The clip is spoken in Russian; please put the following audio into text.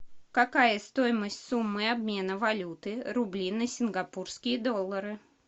какая стоимость суммы обмена валюты рубли на сингапурские доллары